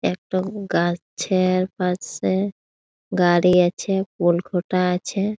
একটা উ গাছ-এর পাশে গাড়ি আছে। পোল খুটা আছে।